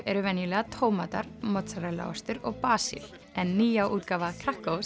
eru venjulega tómatar mozzarella ostur og basil en nýja útgáfa